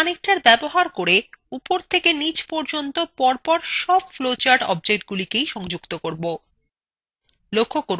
আমরা connectors ব্যবহার করে উপর থেকে নীচ পর্যন্ত পরপর সব flowchart অবজেক্টগুলিকে সংযুক্ত করব